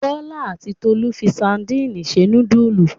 Bọ́lá àti Tolú fi sadínì se núdúlù.